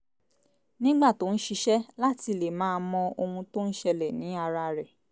nígbà tó ń ṣiṣẹ́ láti le máa mọ ohun tó ń ṣẹlẹ̀ ní ara rẹ̀